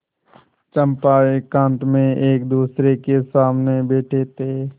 चंपा एकांत में एकदूसरे के सामने बैठे थे